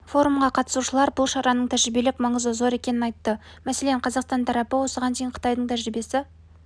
форумға қатысушылар бұл шараның тәжірибелік маңызы зор екенін айтты мәселен қазақстан тарапы осыған дейін қытайдың тәжірибесі